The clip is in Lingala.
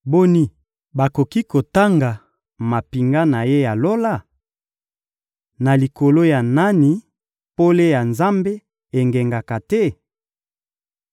Boni, bakoki kotanga mampinga na Ye ya lola? Na likolo ya nani pole ya Nzambe engengaka te?